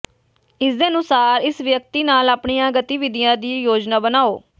ਇਸਦੇ ਅਨੁਸਾਰ ਇਸ ਵਿਅਕਤੀ ਨਾਲ ਆਪਣੀਆਂ ਗਤੀਵਿਧੀਆਂ ਦੀ ਯੋਜਨਾ ਬਣਾਉ